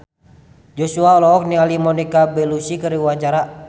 Joshua olohok ningali Monica Belluci keur diwawancara